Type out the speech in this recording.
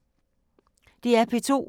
DR P2